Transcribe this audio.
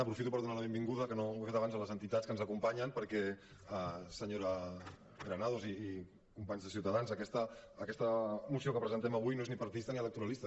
aprofito per donar la benvinguda que no ho he fet abans a les entitats que ens acompanyen perquè senyora granados i companys de ciutadans aquesta moció que presentem avui no és ni partidista ni electoralista